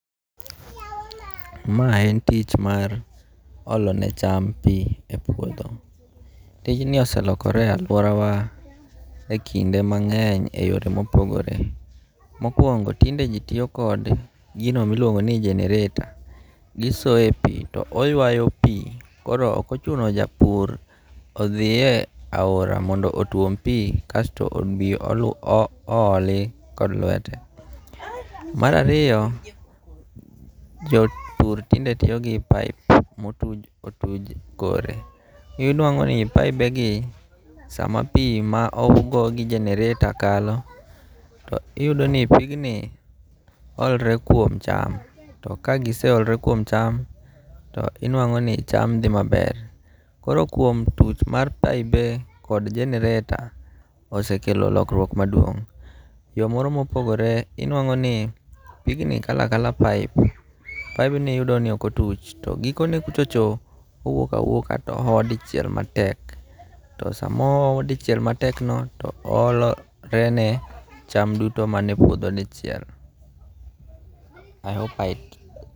Mae en tich mar olone cham pi epuotho, tijni oselokore e aluorawa e kinde mange'ny e yore mopogore, mokuongo' tinde ji tiyo kode e gino ma iluongo ni generator, gisoe pi oyawe pi koro okochuno ni japur thie e aora mondo otwom pi kasto othi obi oloholi kod lwete. Marariyo jopur tinde tiyo gi pipe ma otuj otuch korgi inwango' ni paibegi samapi ma ogo gi generator kalo to iyudoni pigni olore kuom cham, to ka giseolore kuom cham to inwango' ni cham thi maber koro kuom tuch mar paibe kod generator osekelo lokruok maduong' yo moro mopogore inwango' ni pigni kalo akalo pipe paibni inwango' ni okotuch to gikone kuchocho owuok awuoka to oho dichiel matek to sama oho dichiel matekno to oholorene cham duto manie puotho dichiel